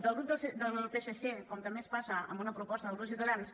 del grup del psc com també ens passa amb una pro·posta del grup de ciutadans